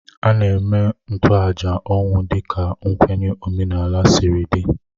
A na-eme ntoaja ọnwụ dịka nkwenye omenala siri dị